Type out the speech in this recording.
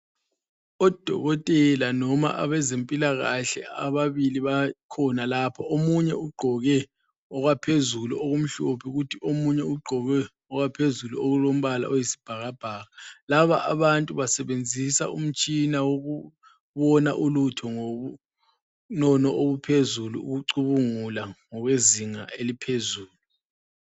Odokotela noma abezempilakahle ababili bakhona lapha. Omunye ugqoke okwaphezulu okumhlophe kuthi omunye ugqoke okwaphezulu okulombala oyisibhakabhaka. Laba abantu basebenzisa umtshina wokubona ulutho ngobunono obuphezulu, ukucubungula ngokwezinga eliphezulu.